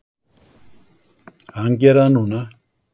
Hann gerir það núna.